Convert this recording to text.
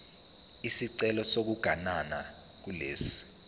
isicelo sokuganana kulesi